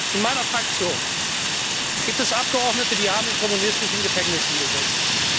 In meiner Fraktion gibt es Abgeordnete, die haben in kommunistischen Gefängnissen gesessen.